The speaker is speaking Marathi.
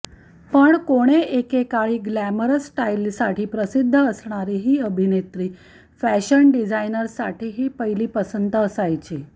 पण कोणे एकेकाळी ग्लॅमरस स्टाइलसाठी प्रसिद्ध असणारी ही अभिनेत्री फॅशन डिझाइनर्ससाठीही पहिली पसंत असायची